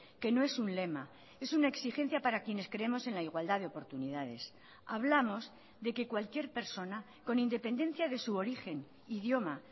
que no es un lema es una exigencia para quienes creemos en la igualdad de oportunidades hablamos de que cualquier persona con independencia de su origen idioma